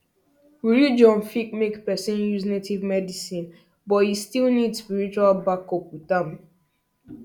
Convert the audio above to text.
religion fit make person use native medicine but e still need spiritual backup with am